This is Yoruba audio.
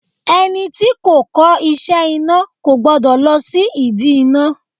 Ẹni tí kò kọ́ iṣẹ́ iná kò gbọ́dọ̀ lọ sí ìdí iná.